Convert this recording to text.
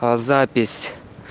запись